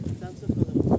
Sən çək qabağa.